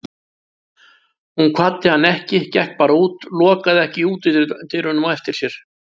Hún kvaddi hann ekki, gekk bara út, lokaði ekki útidyrunum á eftir sér.